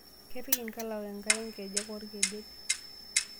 Kepik nkalaok enkare nkejek orkedet.